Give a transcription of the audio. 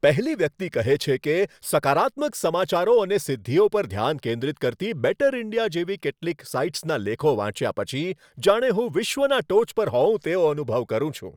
પહેલી વ્યક્તિ કહે છે કે, સકારાત્મક સમાચારો અને સિદ્ધિઓ પર ધ્યાન કેન્દ્રિત કરતી "બેટર ઇન્ડિયા" જેવી કેટલીક સાઈટ્સના લેખો વાંચ્યા પછી જાણે હું વિશ્વના ટોચ પર હોવ તેવો અનુભવ કરું છું.